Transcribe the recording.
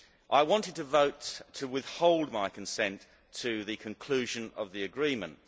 I wanted to vote to withhold my consent to the conclusion of the agreement.